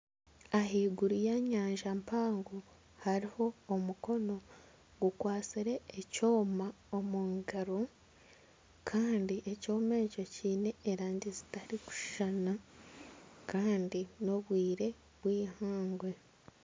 Ahaiguru y'enyanja mpango hariho omukono gukwatsire ekyoma omu ngaro kandi ekyoma ekyo kiine erangi zitarikushushana kandi n'obwire obw'eihangwe .